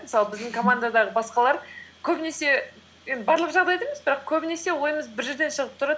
мысалы біздің командадағы басқалар көбінесе енді барлық жағдайда емес бірақ көбінесе ойымыз бір жерден шығып тұрады